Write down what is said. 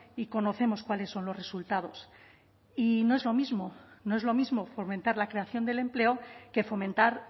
y conocemos cuáles son los resultados y no es lo mismo no es lo mismo fomentar la creación del empleo que fomentar